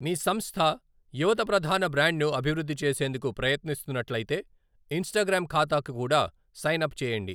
మీ సంస్థ యువత ప్రధాన బ్రాండ్ను అభివృద్ధి చేసేందుకు ప్రయత్నిస్తున్నట్లయితే, ఇంస్టాగ్రామ్ ఖాతాకు కూడా సైన్ అప్ చేయండి.